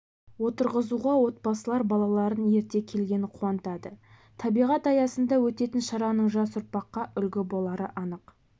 отырғызуға отбасылар балаларын ерте келгені қуантады табиғат аясында өтетін шараның жас ұрпаққа үлгі болары анық